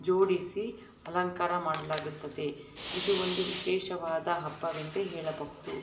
ಜೋಡಿಸಿ ಅಲಂಕಾರ ಮಾಡಲಾಗುತ್ತದೆ ಇದು ಒಂದು ವಿಶೇಷವಾದ ಹಬ್ಬ ಎಂದೇ ಹೇಳಬಹುದು.